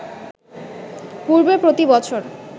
পূর্বে প্রতি বছর